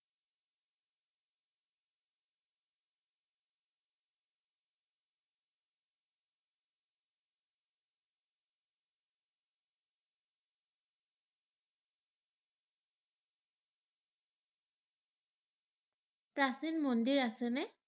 প্ৰাচীন মন্দিৰ আছে নে?